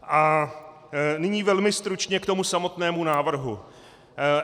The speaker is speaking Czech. A nyní velmi stručně k tomu samotnému návrhu.